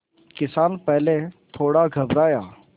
किसान पहले थोड़ा घबराया